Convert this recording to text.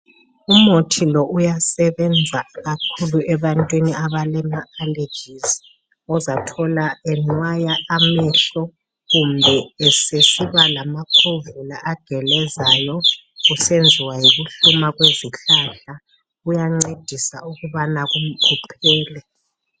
Umuthi lo uyasebenza kakhulu ebantwini abalama alejizi ozathola enwaya amehlo kumbe esesiba lamakhovula agelezayo kusenziwa yikuhluma kwezihlahla kuyancedisa ukubana kuphele.